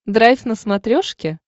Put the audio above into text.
драйв на смотрешке